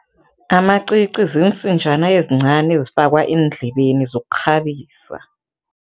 Amacici ziinsinjana ezincani ezifakwa eendlebeni zokukghabisa.